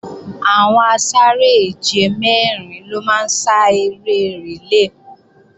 Àwọn asáré-èje mẹ́rin ló máa ń sá eré rìlé